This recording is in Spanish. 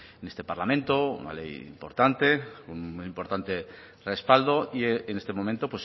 en este parlamento una ley importante con un importante respaldo y en este momento